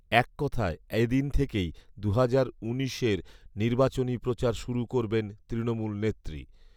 এক কথায় এদিন থেকেই দু'হাজার উনিশের নির্বাচনী প্রচার শুরু করবেন তৃণমূল নেত্রী